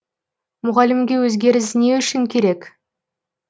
мұғалімге өзгеріс не үшін керек